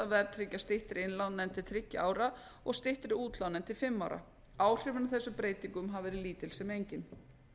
að verðtryggja styttri innlán en til þriggja ára og styttri útlán en til fimm ára áhrifin af þessum breytingum hafa verið lítil sem engin